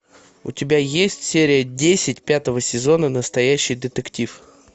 у тебя есть серия десять пятого сезона настоящий детектив